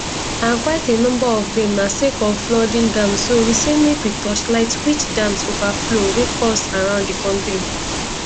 and quite a number of dem na sake of flooded dams so we say make we torchlight which dams overflow wey cause around di kontri